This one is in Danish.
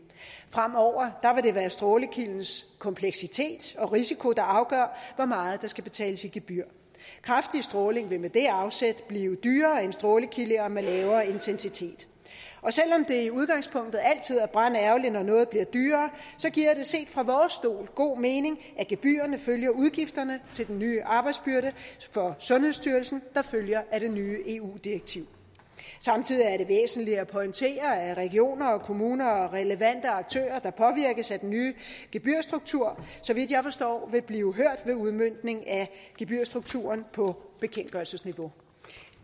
fremover vil det være strålekildens kompleksitet og risiko der afgør hvor meget der skal betales i gebyr kraftig stråling vil med det afsæt blive dyrere end strålekilder med lavere intensitet selv om det i udgangspunktet altid er brandærgerligt når noget bliver dyrere så giver det set fra vores stol god mening at gebyrerne følger udgifterne til den nye arbejdsbyrde for sundhedsstyrelsen der følger af det nye eu direktiv samtidig er det væsentligt at pointere at regioner og kommuner og relevante aktører der påvirkes af den nye gebyrstruktur så vidt jeg forstår vil blive hørt ved udmøntningen af gebyrstrukturen på bekendtgørelsesniveau